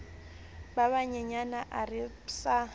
ba banyenyane a re psa